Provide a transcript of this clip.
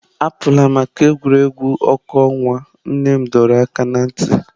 Apụla maka egwuregwu ọkụ ọnwa, nne m dọrọ aka ná ntị.